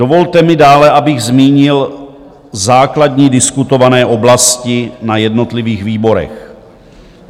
Dovolte mi dále, abych zmínil základní diskutované oblasti na jednotlivých výborech.